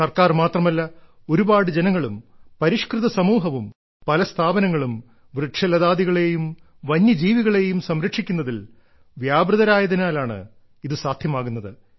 സർക്കാർ മാത്രമല്ല ഒരുപാട് ജനങ്ങളും പരിഷ്കൃത സമൂഹവും പല സ്ഥാപനങ്ങളും വൃക്ഷലതാദികളേയും വന്യജീവികളേയും സംരക്ഷിക്കുന്നതിൽ വ്യാപൃതരായതിനാലാണ് ഇത് സാധ്യമാകുന്നത്